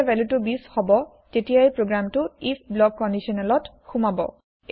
যেতিয়াই ভেলুটো ২০ হব তেতিয়াই প্রগ্রেমটো আইএফ ব্লক কন্দিচনেলত সোমাব